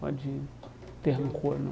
Pode ter rancor, não.